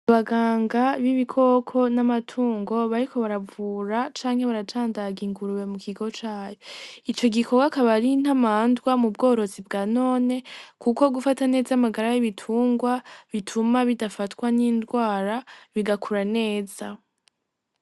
Abaganga b'ibikoko n'amatungo bariko baravura canke baracandaga ingurube mu kigo cayo , ico gikogwa akaba ar'intamwandwa mu bworozi bwanone kuko gufata neza amagara y'ibitungwa bituma bidafatwa n'indwara bigakura neza.